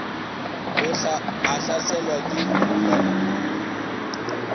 a hlaselwa ke mokhohlwane wo